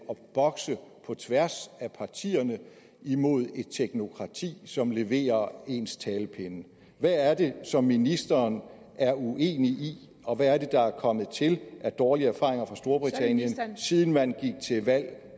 bokse på tværs af partierne imod et teknokrati som leverer ens talepinde hvad er det som ministeren er uenig i og hvad er det der er kommet til af dårlige erfaringer fra storbritannien siden man gik til valg